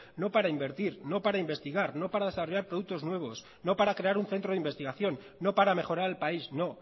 no para invertir no para investigar no para desarrollar productos nuevos no para crear un centro de investigación no para mejorar el país no